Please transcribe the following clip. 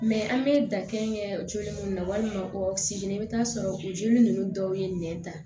an bɛ dan kɛ joli mun na walima o segin i bɛ taa sɔrɔ o joli ninnu dɔw ye nɛn ta